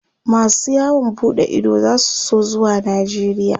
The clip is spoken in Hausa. masu yawon buɗe Ido zasu so zuwa najeria